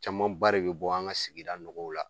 Camanba re bi bɔ an ka sigida nɔgɔw la.